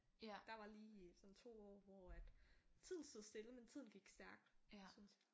Der var lige sådan 2 år hvor at tiden stod stille men tiden gik stærkt synes jeg